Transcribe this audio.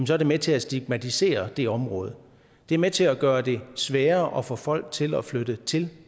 så er det med til at stigmatisere det område det er med til at gøre det sværere at få folk til at flytte til